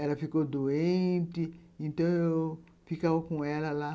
Ela ficou doente... então eu ficava com ela lá.